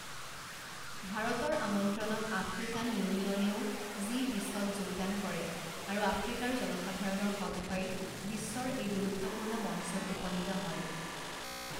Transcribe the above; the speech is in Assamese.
ভাৰতৰ আমন্ত্ৰণত আফ্ৰিকান ইউনিয়নেও জি বিছত যোগদান কৰে আৰু আফ্ৰিকাৰ জনসাধাৰণৰ কণ্ঠই বিশ্বৰ এই গুৰুত্বপূৰ্ণ মঞ্চত উপনীত হয়।